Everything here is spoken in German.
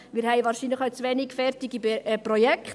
Wir haben wahrscheinlich auch zu wenig fertige Projekte.